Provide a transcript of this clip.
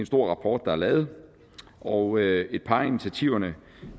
stor rapport der er lavet og et par af initiativerne